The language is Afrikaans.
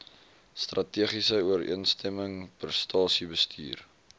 strategiese ooreenstemming prestasiebestuur